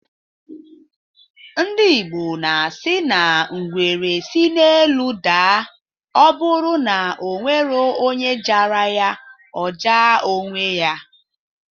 Ndi Ịgbo na-asi na ngwere si n'elu daa, ọ bụrụ na ọnwerọ onye jara ya,ọ jaa onwe ya.